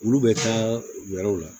Olu bɛ taa u yɔrɔw la